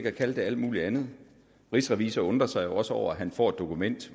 at kalde det alt muligt andet rigsrevisor undrer sig jo også over at han får et dokument